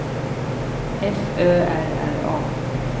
F Ö R R A